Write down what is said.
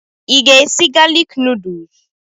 Ị ga-esi galik nuduls?